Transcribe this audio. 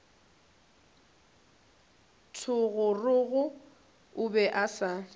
thogorogo o be a sa